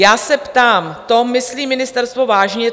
Já se ptám, to myslí ministerstvo vážně?